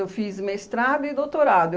Eu fiz mestrado e doutorado.